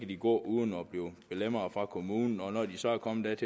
de gå uden at blive belemret fra kommunen når de så er kommet